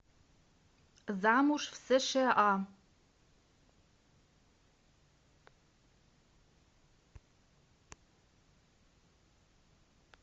замуж в сша